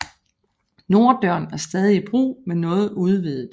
Norddøren er stadig i brug men noget udvidet